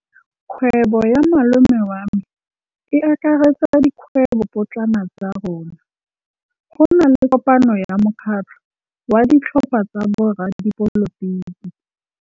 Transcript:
Kgwêbô ya malome wa me e akaretsa dikgwêbôpotlana tsa rona. Go na le kopanô ya mokgatlhô wa ditlhopha tsa boradipolotiki.